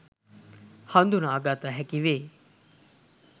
හදුනාගත හැකි වේ.